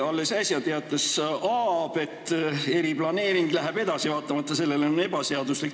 Alles äsja teatas Aab, et eriplaneering läheb edasi, vaatamata sellele, et see on ebaseaduslik.